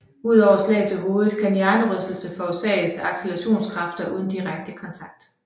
Udover slag til hovedet kan hjernerystelse forårsages af accelerationskræfter uden direkte kontakt